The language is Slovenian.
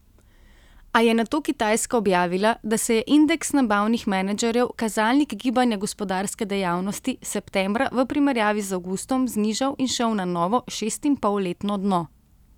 A je nato Kitajska objavila, da se je indeks nabavnih menedžerjev, kazalnik gibanja gospodarske dejavnosti, septembra v primerjavi z avgustom znižal in šel na novo šestinpolletno dno.